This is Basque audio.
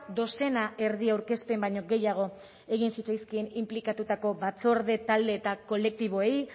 dozena erdi aurkezpen baino gehiago egin zitzaizkien inplikatutako batzorde talde eta kolektiboei